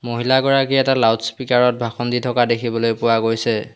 মহিলাগৰাকী এটা -loudspeaker ত ভাষণ দি থকা দেখিবলৈ পোৱা গৈছে।